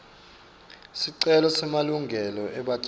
sicelo semalungelo ebatjali